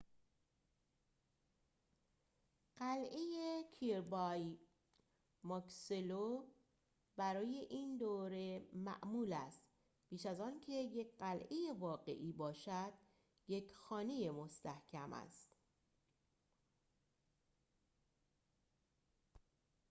برای این دوره معمول است قلعه kirby muxloe بیش از آنکه یک قلعه واقعی باشد یک خانه مستحکم است